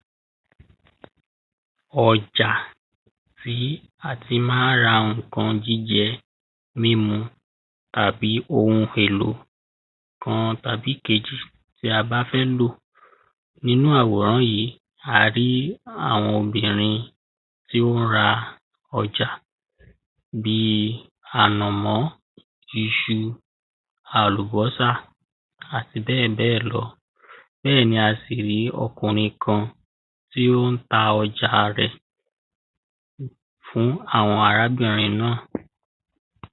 Ọ̣jà tí a tí má ń ra nǹkan jíjẹ, mímu, tàbí ohun èlò kan tàbí kejì tí a bá fẹ́ lò. Nínú àwòrán yìí a rí àwọn obìnrin tí wọ́n ń ra ọjà bíi ànàmó, iṣu, àlùbọ́sà, àti bẹ́ẹ̀bẹ́ẹ̀ lọ. Bẹ́ẹ̀ni a sì rí ọkùnrin kan tí ó ń ta ọjà rẹ̀ fún àwọn arábìnrin náà.